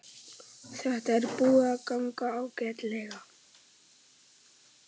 Þetta er búið að ganga ágætlega